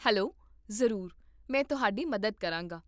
hello, ਜ਼ਰੂਰ, ਮੈਂ ਤੁਹਾਡੀ ਮਦਦ ਕਰਾਂਗਾ